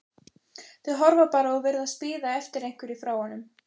Þau horfa bara og virðast bíða eftir einhverju frá honum.